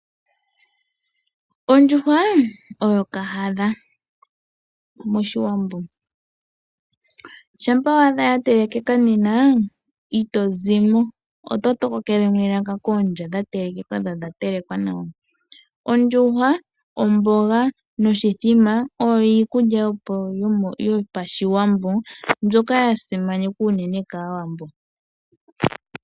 Ondjuhwa oyo kahadha mOshiwambo. Shampa wa adha ya telekeka nena ito zimo, oto tokokele mo elaka koondya dha telekeka dho odha telekwa nawa. Ondjuhwa, omboga noshithima oyo iikulya yo paShiwambo mbyoka ya simanekwa unene kAawambo.